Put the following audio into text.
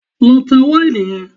Lọ ta wáìnì yẹn!